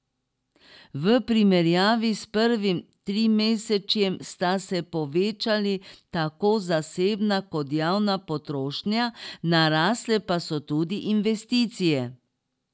V primerjavi s prvim trimesečjem sta se povečali tako zasebna kot javna potrošnja, narasle pa so tudi investicije.